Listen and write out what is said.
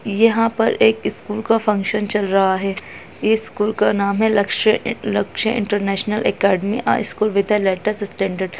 ये यहाँ पर एक स्कूल का फंक्शन चल रहा है इस स्कूल का नाम है Lakshya a Lakshya international academy a school with a latest standard.